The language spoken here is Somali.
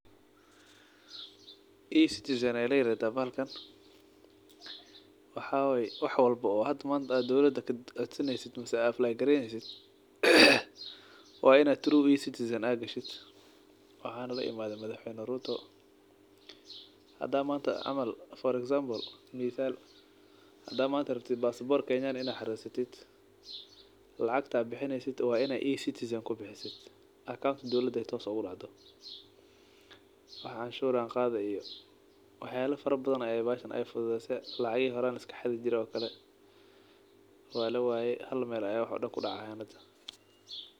E-citizen aa layirahdah bahalkan, waxay way walbo oo hada manta dowlada ad kacodsaneysid ama apply-greynesid, wa ina through E-citizen gashid , waxaa na laimadhe madax weyna Ruto , hadaa manta camal ,for example, mithal hadaa manta rabtid basabor kenyan ah in ad xaresatid, lacagta bixineysid wa inaa aacounka E-citizen kubixisid, wax canshur an qadha iyo wax badhan ay fududeyse, lacagihi horan laxadi jire walawaye, hal mel ay wax oo dhan kudacayan hada.